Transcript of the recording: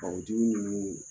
Kakal jugu ninnu